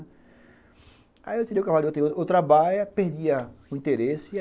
Aí, eu tirei o cavalo outra baia, perdi a o interesse.